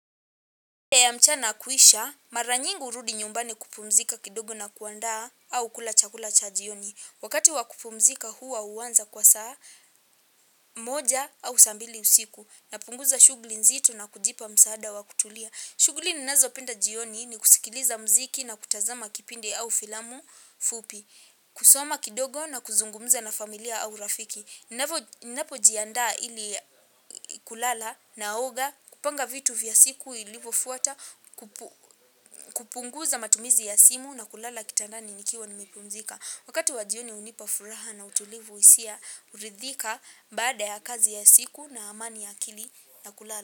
Ya mchana kuisha, mara nyingi hurudi nyumbani kupumzika kidogo na kuandaa au kula chakula cha jioni. Wakati wa kupumzika huwa huanza kwa saa moja au saa mbili usiku. Napunguza shughuli nzito na kujipa msaada wa kutulia. Shughuli ninazopenda jioni ni kusikiliza mziki na kutazama kipindi au filamu fupi. Kusoma kidogo na kuzungumza na familia au rafiki. Ninapojiandaa ili kulala naoga, kupanga vitu vya siku ilivofuata kupunguza matumizi ya simu na kulala kitandani nikiwa nimepunzika. Wakati wa jioni hunipa furaha na utulivu hisia rithika baada ya kazi ya siku na amani ya akili na kulala.